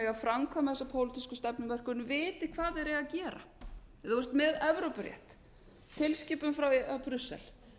eiga að framkvæma þessa pólitísku stefnumörkun viti hvað þeir eiga að gera ef þú ert með evrópurétt tilskipun frá brussel